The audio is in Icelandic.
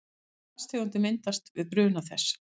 Hvaða gastegundir myndast við bruna þess?